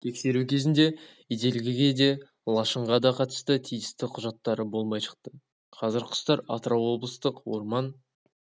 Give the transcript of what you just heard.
тексеру кезінде ителгіге де лашынға да қатысты тиісті құжаттары болмай шықты қазір құстар атырау облыстық орман